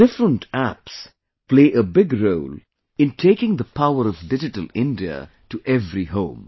Different apps play a big role in taking the power of Digital India to every home